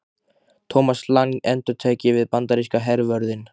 Thomas Lang endurtek ég við bandaríska hervörðinn.